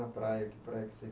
a praia. Que praia que vocês